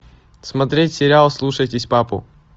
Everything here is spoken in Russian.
смотреть сериал слушайтесь папу